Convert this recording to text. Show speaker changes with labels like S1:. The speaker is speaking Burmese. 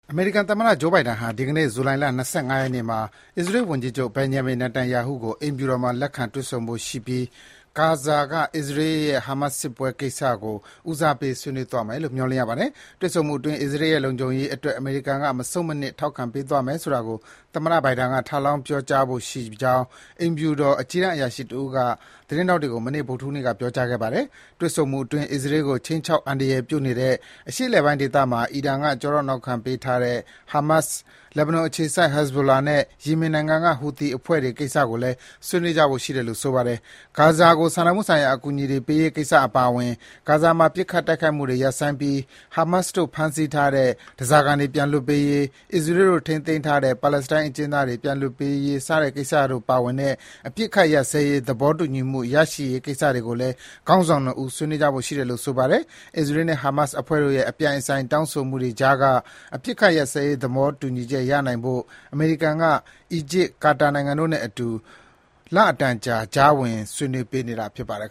S1: အမေရိကန်သမ္မတ Joe Biden ဟာ ဒီကနေ့ ဇူလိုင်လ ၂၅ ရက်နေ့မှာ အစ္စရေးဝန်ကြီးချုပ် Benjamin Netanyahu ကို အိမ်ဖြူတော်မှာ လက်ခံ တွေ့ဆုံဖို့ရှိနေပြီး ဂါဇာက အစ္စရေးနဲ့ ဟာမတ်စ်ပွဲကိစ္စကို ဦးစားပေး ဆွေးနွေးကြမယ်လို့ မျှော်လင့်ရပါတယ်။ တွေ့ဆုံမှုအတွင်း အစ္စရေးရဲ့ လုံခြုံရေးအတွက် အမေရိကန်က မဆုတ်မနစ် ထောက်ခံပေးသွားမယ်ဆိုတာကို သမ္မတ Biden က ထပ်လောင်း ပြောဆိုဖို့ရှိကြောင်း အိမ်ဖြူတော် အကြီးတန်းအရာရှိတဦးက သတင်းထောက်တွေကို မနေ့ ဗုဒ္ဓဟူးနေ့က ပြောကြားခဲ့ပါတယ်။ တွေ့ဆုံမှုအတွင်း အစ္စရေးကို ခြိမ်းခြောက် အန္တရာယ်ပြုနေတဲ့ အရှေ့အလယ်ပိုင်းဒေသမှာ အီရန်က ကျောထောက်နောက်ခံပေးထားတဲ့ ဟာမတ်စ်၊ လက်ဘနွန်အခြေစိုက် ဟစ်ဇ်ဘိုလာနဲ့ ယီမင်နိုင်ငံက ဟူသီအဖွဲ့တွေကိစ္စတို့ကိုလည်း ဆွေးနွေးကြဖို့ရှိတယ်လို့ ဆိုပါတယ်။ ဂါဇာကို စာနာမှုဆိုင်ရာအကူအညီတွေပေးရေးကိစ္စအပါအဝင် ဂါဇာမှာ ပစ်ခတ် တိုက်ခိုက်မှုတွေ ရပ်ဆိုင်းပြီး ဟာမတ်စ်တို့ ဖမ်းဆီးထားတဲ့ ဓားစာခံတွေ ပြန်လွှတ်ရေး၊ အစ္စရေးတို့ ထိန်းသိမ်းထားတဲ့ ပါလက်စတိုင်းအကျဉ်းသားတွေ ပြန်လွှတ်ပေးရေးကိစ္စတို့ ပါဝင်တဲ့ အပစ်အခတ်ရပ်စဲရေး သဘောတူညီမှု ရရှိရေးကိစ္စရပ်တွေကိုလည်း ခေါင်းဆောင် ၂ ဦး ဆွေးနွေးကြဖို့ရှိတယ်လို့ ဆိုပါတယ်။ အစ္စရေးနဲ့ ဟာမတ်စ်အဖွဲ့တို့ရဲ့ အပြိုင်အဆိုင် တောင်းဆိုမှုတွေကြားက အပစ်အခတ်ရပ်စဲရေး သဘောတူညီချက် ရရှိနိုင်ဖို့ အမေရိကန်က အီဂျစ်၊ ကာတာနိုင်ငံတို့နဲ့အတူ ကာလအတန်ကြာ ကြားဝင်ဆွေးနွေးပေးနေတာဖြစ်ပါတယ်